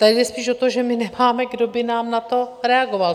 Tady jde spíš o to, že my nemáme, kdo by nám na to reagoval.